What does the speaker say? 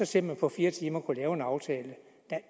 til at man på fire timer kunne lave en aftale